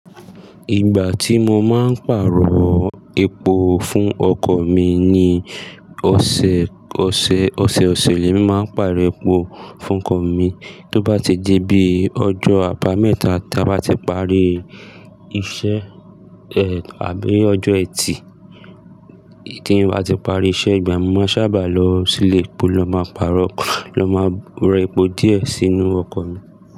Ìgbà tí mo máa ń pàrọ̀ epo fún ọkọ̀ mi ni ọ̀sẹ̀, ọ̀sẹ̀, ọ̀sẹ̀-ọ̀sẹ̀ mi máa ń pàrọ̀ epo fún ọkọ̀ mi. Tó bá ti dé bí ọjọ́ àbámẹ́ta tá bá ti parí iṣẹ́, àbí ọjọ́ ẹtì, tí mo bá ti parí iṣẹ́ ìgbà mi máa sábà lọ sílé epo ló máa pàrọ́, ló máa ra epo díẹ̀ sínú ọkọ̀ mi.